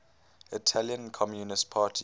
italian communist party